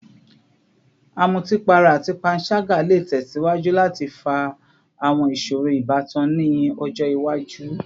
Amutipara ati panṣaga le tẹsiwaju lati fa awọn iṣoro ibatan ni ọjọ iwaju